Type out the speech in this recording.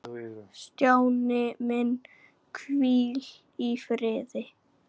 Stjáni minn, hvíl í friði.